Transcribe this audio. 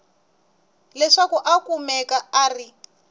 leswaku a kumeka a ri